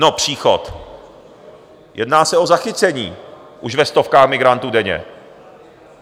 No, příchod... jedná se o zachycení už ve stovkách migrantů denně.